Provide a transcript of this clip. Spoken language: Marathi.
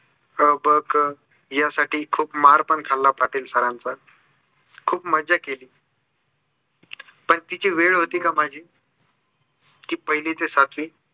अ ब क ह्या साठी खूप मार पण खाल्ला पाटील sir चा खूप मजा केली. पण तिची वेळ होती का माझी. पहिली ते सातवी